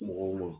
Mɔgɔw ma